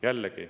Jällegi …